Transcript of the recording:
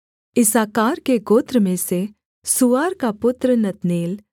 इस्साकार के गोत्र में से सूआर का पुत्र नतनेल